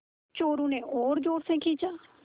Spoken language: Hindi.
चोरु ने और ज़ोर से खींचा